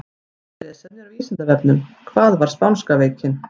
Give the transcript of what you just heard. Frekara lesefni á Vísindavefnum: Hvað var spánska veikin?